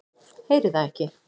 Heyri það ekki.